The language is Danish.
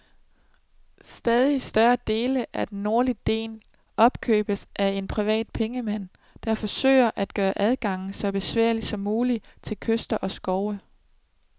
Stadig større dele af den nordlige del opkøbes af en privat pengemand, der forsøger at gøre adgangen så besværlig som mulig til kyster og skov.